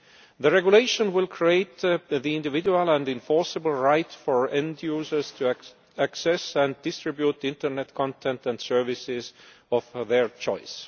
The regulation will create the individual and enforceable right for end users to access and distribute internet content and services of their choice.